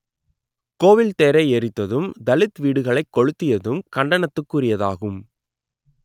கோவில் தேரை எரித்ததும் தலித் வீடுகளைக் கொளுத்தியதும் கண்டனத்துக்குரியதாகும்